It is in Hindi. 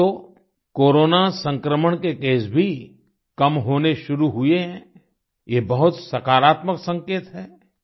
अब तो कोरोना संक्रमण के केस भी कम होने शुरू हुए हैं ये बहुत सकारात्मक संकेत है